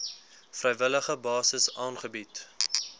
vrywillige basis aangebied